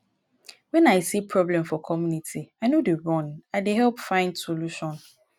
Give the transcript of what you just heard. wen i see problem for community i no dey run i dey help find solution